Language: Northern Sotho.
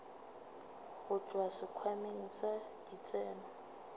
go tšwa sekhwameng sa ditseno